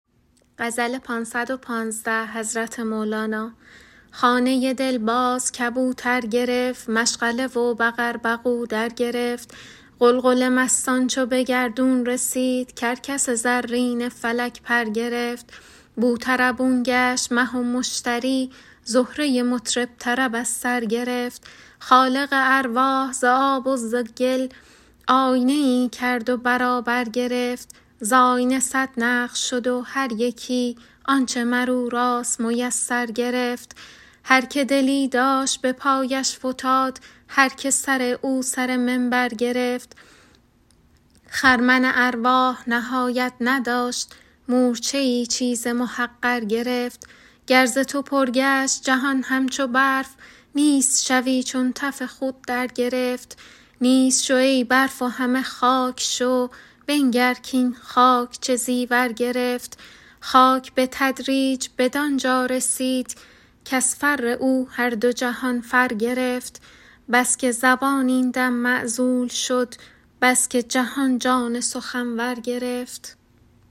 خانه دل باز کبوتر گرفت مشغله و بقر بقو درگرفت غلغل مستان چو به گردون رسید کرکس زرین فلک پر گرفت بوطربون گشت مه و مشتری زهره مطرب طرب از سر گرفت خالق ارواح ز آب و ز گل آینه ای کرد و برابر گرفت ز آینه صد نقش شد و هر یکی آنچ مر او راست میسر گرفت هر که دلی داشت به پایش فتاد هر که سر او سر منبر گرفت خرمن ارواح نهایت نداشت مورچه ای چیز محقر گرفت گر ز تو پر گشت جهان همچو برف نیست شوی چون تف خور درگرفت نیست شو ای برف و همه خاک شو بنگر کاین خاک چه زیور گرفت خاک به تدریج بدان جا رسید کز فر او هر دو جهان فر گرفت بس که زبان این دم معزول شد بس که جهان جان سخنور گرفت